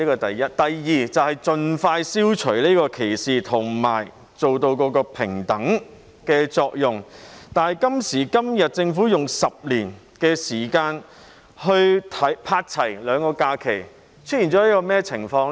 第二，是要盡快消除歧視及達致平等，但政府今時今日提出用10年時間去"拍齊"兩種假期，出現甚麼情況呢？